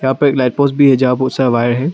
यहां पर एक लाइट पोस्ट भी है यहां पर बहुत सारा वायर है।